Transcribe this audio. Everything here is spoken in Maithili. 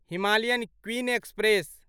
Himalayan Queen express